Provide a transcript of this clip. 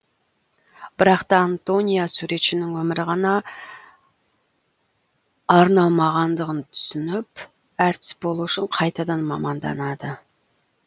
бірақ та антония суретшінің өмірі ғана арналмағандығын түсініп әртіс болу үшін қайтадан маманданады